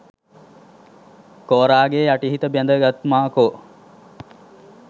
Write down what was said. කෝරා ගේ යටි හිත බැඳ ගත් මාකෝ